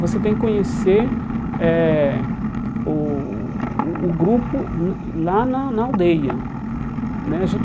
Você tem que conhecer eh o o o grupo lá na na aldeia né.